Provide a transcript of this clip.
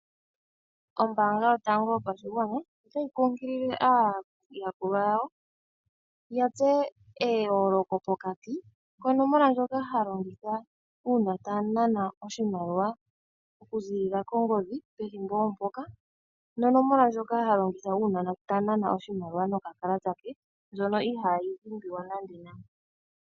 Ombanga yotango yopashigwana ota yi kunkulile aayakulwa yawo ya tseye eyooloko pokati konomola ndjoka ha longitha uuna ta nana oshimaliwa okuziilila kongodhi pethimbo ompoka nonomola ndjoka ha longitha uuna ta nana oshimaliwa nokakalata ke ndjono ihayi dhimbiwa nande nande.